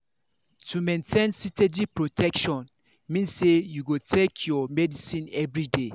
to maintain steady steady protection mean say you go dey take your medicine everyday